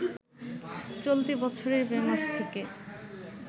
চলতি বছরের মে মাস থেকে